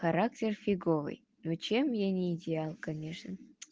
характер фиговый ну чем я не идеал конечно